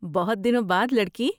بہت دنوں بعد، لڑکی۔